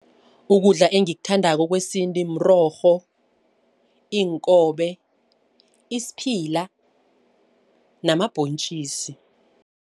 Ukudla engikuthandako kwesintu mrorho, iinkobe, isiphila namabhontjisi.